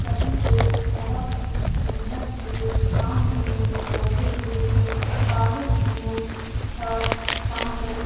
सभी लोग बहुत ही मेहनत से काम में लगे हुए है बालू सीमेंट --